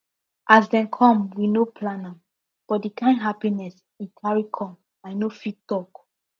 as dem come we no plan am but di kind happiness e carry come i no fit talk